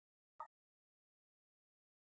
Ég tek það ekki í mál!